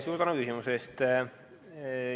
Suur tänu küsimuse eest!